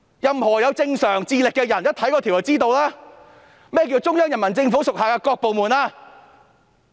任何有正常智力的人一看該條條文也知道，何謂"中央人民政府所屬各部門"？